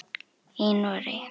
Í Noregi